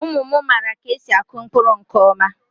Ụmụ mara ka esi akụ mkpụrụ nke ọma